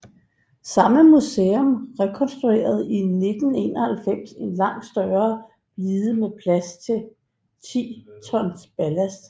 Samme museum rekonstruerede i 1991 en langt større blide med plads til 10 tons ballast